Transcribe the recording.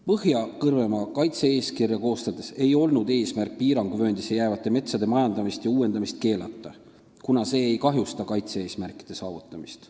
Põhja-Kõrvemaa kaitse-eeskirja koostades ei olnud eesmärk piiranguvööndisse jäävate metsade majandamist ja uuendamist keelata, kuna majandamine ja uuendamine ei kahjusta kaitse-eesmärkide saavutamist.